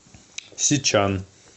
сичан